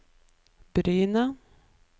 Bryne